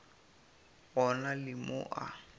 go na le mo a